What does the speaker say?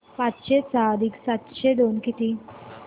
पाचशे सहा अधिक सातशे दोन किती